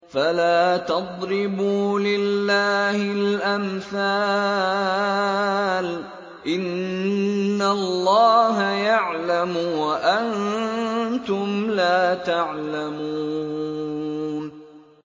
فَلَا تَضْرِبُوا لِلَّهِ الْأَمْثَالَ ۚ إِنَّ اللَّهَ يَعْلَمُ وَأَنتُمْ لَا تَعْلَمُونَ